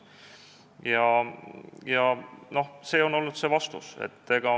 See on olnud see vastus.